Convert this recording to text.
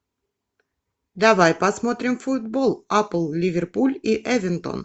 давай посмотрим футбол апл ливерпуль и эвертон